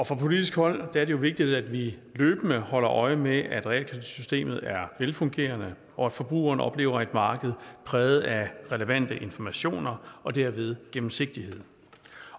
fra politisk hold er det vigtigt at vi løbende holder øje med at realkreditsystemet er velfungerende og at forbrugerne oplever et marked præget af relevante informationer og derved gennemsigtighed